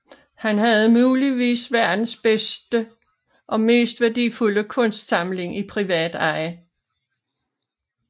Han havde muligvis verdens bedste og mest værdifulde kunstsamling i privat eje